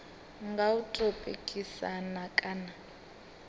nga u tou pikisana kana